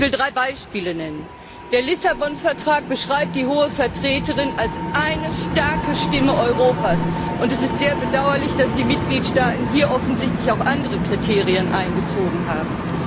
Ich will drei Beispiele nennen Der Lissabon Vertrag beschreibt die Hohe Vertreterin als eine starke Stimme Europas, und es ist sehr bedauerlich, dass die Mitgliedstaaten hier offensichtlich auch andere Kriterien einbezogen haben.